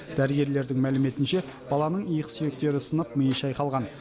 дәрігерлердің мәліметінше баланың иық сүйектері сынып миы шайқалған